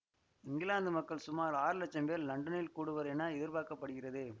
இங்கிலாந்து மக்கள் சுமார் ஆறு லட்சம் பேர் லண்டனில் கூடுவர் என எதிர்பார்க்க படுகிறது